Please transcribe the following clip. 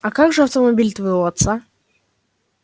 а как же автомобиль твоего отца